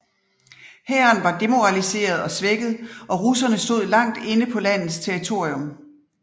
Hæren var demoraliseret og svækket og russerne stod langt inde på landets territorium